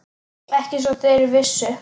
Ekki svo þeir vissu.